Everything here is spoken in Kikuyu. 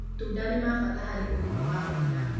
Matunda nĩ ma bata harĩ ũgima wa mwana.